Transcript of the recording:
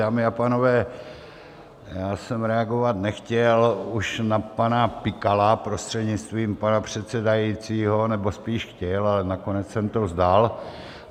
Dámy a pánové, já jsem reagovat nechtěl už na pana Pikala, prostřednictvím pana předsedajícího, nebo spíš chtěl, ale nakonec jsem to vzdal.